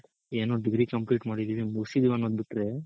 ಏನೋ degree complete ಮಾಡಿದಿವಿ ಮುಗ್ಸಿದೀವ್ ಅನ್ನೋದ್ ಬಿಟ್ರೆ